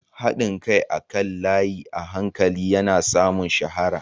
Haɗin kai akan layi a hankali yana samun shahara.